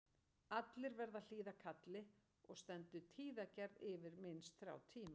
Allir verða að hlýða kalli og stendur tíðagerð yfir minnst þrjá tíma.